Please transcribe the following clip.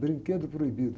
Brinquedo proibido.